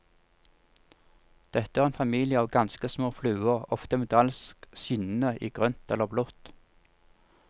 Dette er en familie av ganske små fluer, ofte metallisk skinnende i grønt eller blått.